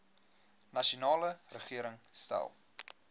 nasionale regering stel